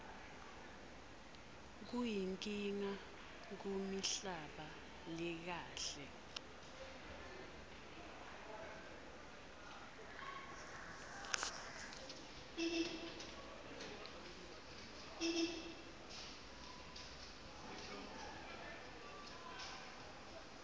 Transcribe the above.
kuyinkinga kumihlaba lekahle